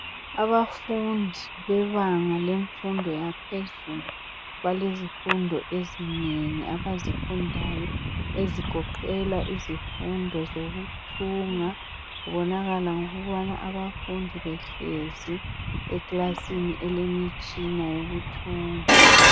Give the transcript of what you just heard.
Abafundi bebanga lemfundo yaphezulu balezifundo ezinengi abazifundayo ezigoqela izifundo zokuthunga kubonakala ngokubona abafundi behlezi ekilasini elemitshina yokuthunga.